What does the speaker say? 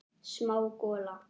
Smá gola.